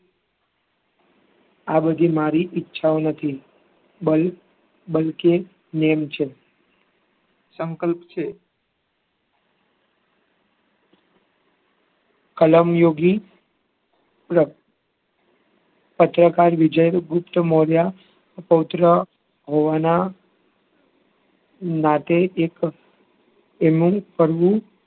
કલમયોગી પત્રકાર વિજયગુપ્ત મૌર્ય પૌત્ર હોવાના નાતે એક એમનું